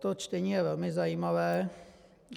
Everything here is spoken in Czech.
To čtení je velmi zajímavé.